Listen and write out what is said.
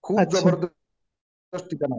खूप जबरदस्त ठिकाण आहे